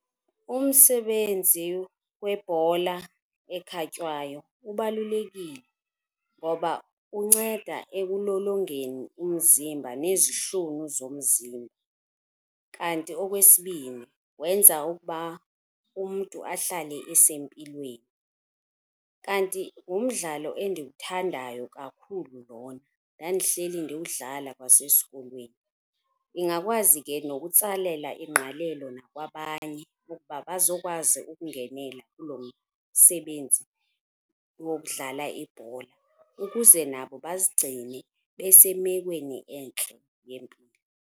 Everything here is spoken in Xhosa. Umsebenzi webhola ekhatywayo ubalulekile ngoba unceda ekulolongeni umzimba nezihlunu zomzimba,. Kanti okwesibini, wenza ukuba umntu ahlale esempilweni. Kanti ngumdlalo endiwuthandayo kakhulu lona ndandihleli ndiwudlala kwasesikolweni. Ndingakwazi ke nokutsalela ingqalelo nakwabanye ukuba bazokwazi ukungenela kulo msebenzi wokudlala ibhola ukuze nabo bazigcine besemekweni entle yempilo.